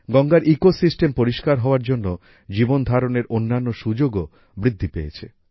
গঙ্গার ইকোসিস্টেম পরিষ্কার হওয়ার জন্য জীবন ধারণের অন্যান্য সুযোগও বৃদ্ধি পেয়েছে